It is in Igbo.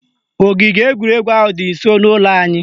Ogige egwuregwu ahụ dị nsọ n'ụlọ anyị